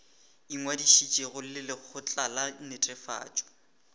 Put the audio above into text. ingwadišitšego le lekgotla la netefatšo